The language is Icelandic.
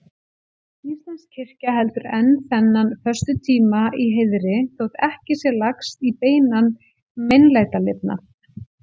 Íslensk kirkja heldur enn þennan föstutíma í heiðri, þótt ekki sé lagst í beinan meinlætalifnað.